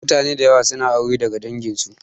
Mutane da yawa suna aure daga dangin su